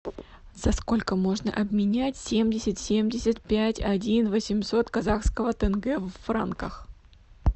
за сколько можно обменять семьдесят семьдесят пять один восемьсот казахского тенге в франках